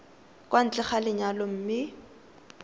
kwa ntle ga lenyalo mme